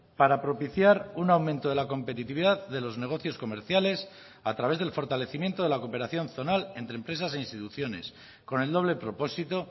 para propiciar un aumento de la competitividad de los negocios comerciales a través del fortalecimiento de la cooperación zonal entre empresas e instituciones con el doble propósito